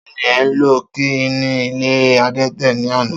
Ta ni e̩ lo̩ kí ní ilé adé̩tè̩ ní àná?